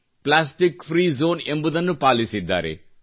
plastic free zone ಎಂಬುದನ್ನು ಪಾಲಿಸಿದ್ದಾರೆ